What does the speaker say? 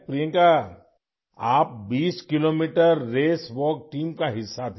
پرینکا، آپ 20 kilometre race walk team کا حصہ تھیں